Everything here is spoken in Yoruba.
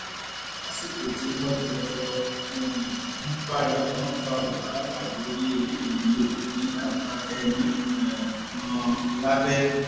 lásìkò tí wọ́n jọ jọ um ń bára wọn fa wàhálà lórí eléyìí ni obìnrin náà dákẹ́ mọ́ um ọn lábẹ́